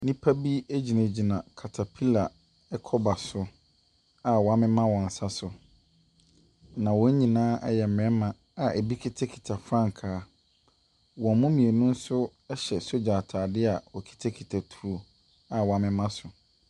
Nnipa bi gyinagyina katapila kɔba so a wɔamema wɔ nsa so. Na wɔn nyinaa yɛ mmarima a wɔkita frankaa, wɔn mu mu mmienu nso hyɛ sogya ataadeɛ a wɔkita a wɔamema so.